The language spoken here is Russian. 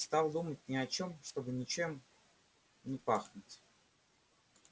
стал думать ни о чём чтобы ничем не пахнуть